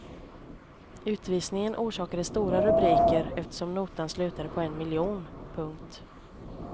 Utvisningen orsakade stora rubriker eftersom notan slutade på en miljon. punkt